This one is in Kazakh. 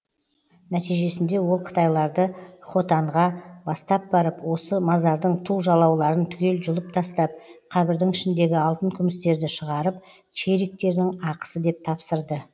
нәтижесінде ол қытайларды хотанға бастап барып осы мазардың ту жалауларын түгел жұлып тастап қабірдің ішіндегі алтын күмістерді шығарып чериктердің ақысы деп тапсырды